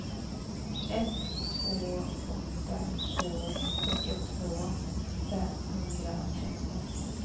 ett två åtta två fyrtiotvå femhundratretton